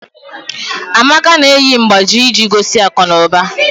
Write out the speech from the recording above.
Amaka na-eyi mgbájí iji gosi akụnụba